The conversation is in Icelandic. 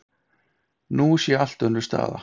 Nú sé allt önnur staða